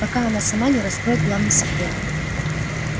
пока она сама не раскроет главный секрет